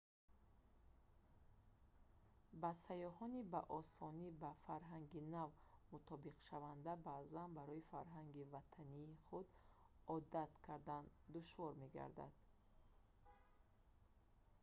ба сайёҳони ба осонӣ ба фарҳанги нав мутобиқшаванда баъзан барои фарҳанги ватании худ одат кардан душвор мегардад